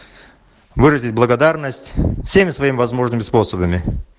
выразить благодарность всеми своими возможными способами